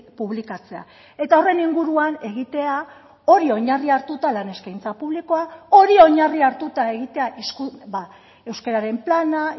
publikatzea eta horren inguruan egitea hori oinarri hartuta lan eskaintza publikoa hori oinarri hartuta egitea euskararen plana